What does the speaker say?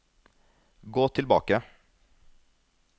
gå tilbake